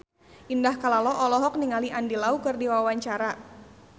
Indah Kalalo olohok ningali Andy Lau keur diwawancara